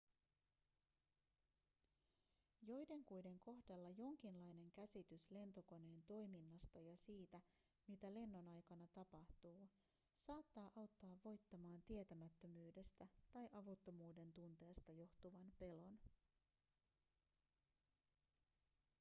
joidenkuiden kohdalla jonkinlainen käsitys lentokoneen toiminnasta ja siitä mitä lennon aikana tapahtuu saattaa auttaa voittamaan tietämättömyydestä tai avuttomuuden tunteesta johtuvan pelon